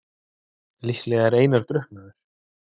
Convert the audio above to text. Líklega er Einar drukknaður.